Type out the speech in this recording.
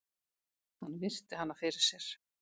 Hann virti hana fyrir sér.